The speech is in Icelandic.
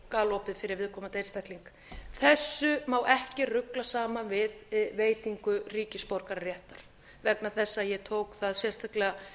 galopið fyrir viðkomandi einstakling þessu má ekki rugla saman við veitingu ríkisborgararéttar vegna þess að ég tók það sérstaklega